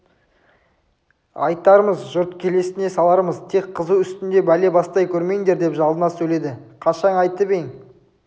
айтармыз жұрт келесіне салармыз тек қызу үстінде бәле бастай көрмеңдер деп жалына сөйледі қашан айтып ең